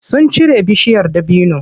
Sun cire bishiyar dabinon.